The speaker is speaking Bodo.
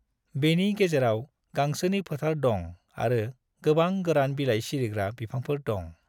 बेनि गेजेराव गांसोनि फोथार दं आरो गोबां गोरान बिलाइ सिरिग्रा बिफांफोर दं।